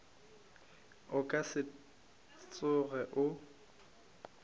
o ka se tsoge o